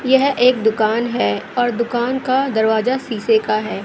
यह एक दुकान है और दुकान का दरवाजा शीशे का है।